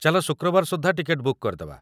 ଚାଲ ଶୁକ୍ରବାର ସୁଦ୍ଧା ଟିକେଟ ବୁକ୍ କରିଦେବା?